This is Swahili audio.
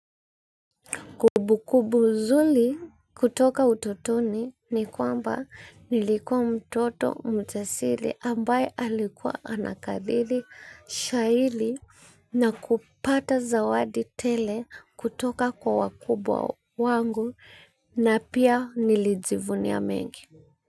Kubu kubu zuli kutoka utotoni ni kwamba nilikuwa mtoto mjasili ambaye alikuwa anakadhili shahili na kupata zawadi tele kutoka kwa wakubwa wangu na pia nilijivunia mengi.